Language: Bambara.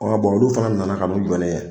Bɔn olu fana nana ka n'u jɔ ne ye.